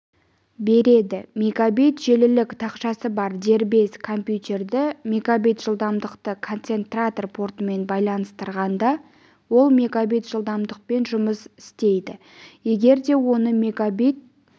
береді мегабит желілік тақшасы бар дербес компьютерді мегабит жылдамдықты концентратор портымен байланыстырғанда ол мегабит жылдамдықпен жұмыс істейдіегер де оны мегабит